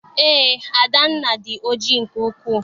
Eé, Adanna dị oji nke ukwu